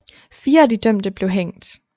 Fire af de dømte blev hængt